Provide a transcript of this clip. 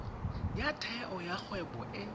ya theo ya kgwebo e